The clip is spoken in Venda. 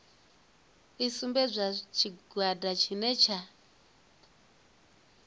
i sumbedze tshigwada tshine tsha